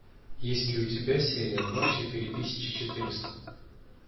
есть ли у тебя серия два четыре тысячи четыреста